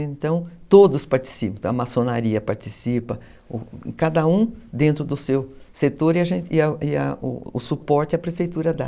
Então, todos participam, a maçonaria participa, cada um dentro do seu setor e a e a o suporte a prefeitura dá.